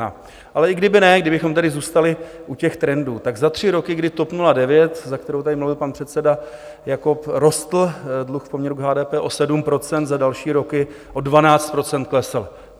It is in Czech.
Ale i kdyby ne, kdybychom tedy zůstali u těch trendů, tak za tři roky, kdy TOP 09, za kterou tady mluvil pan předseda Jakob, rostl dluh v poměru k HDP o 7 %, za další roky o 12 % klesl.